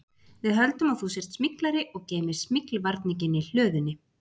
Við höldum að þú sért smyglari og geymir smyglvarninginn í hlöðunni